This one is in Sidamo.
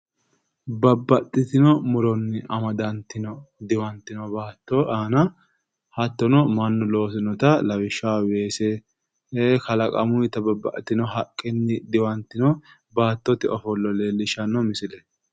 Babbaxitino muronni amaddantino diwantino aanna hattono Manu loosinotta lawishaho weese kallaqamuyitta babbaxitino haqenni diwantino baattotte ofollo leelishano misileeti.